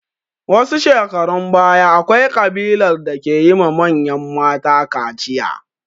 Wasu shekarun baya, akwai ƙabilar da ke yi ma manyan mata kaciya.